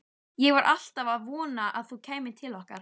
Ég var alltaf að vona að þú kæmir til okkar.